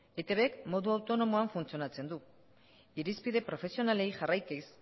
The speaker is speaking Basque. etb modu autonomoan funtzionatzen du irizpide profesionalei jarraikiz